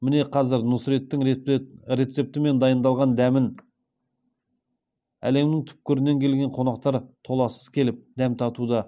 міне қазір нұсреттің рецептімен даи ындалған дәмін әлемнің түкпірінен келген қонақтар толассыз келіп дәм татуда